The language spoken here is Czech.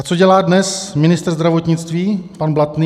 A co dělá dnes ministr zdravotnictví pan Blatný?